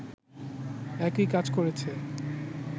একই কাজ করেছে